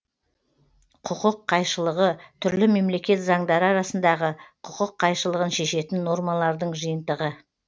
құқық қайшылығы түрлі мемлекет заңдары арасындағы құқық қайшылығын шешетін нормалардың жиынтығы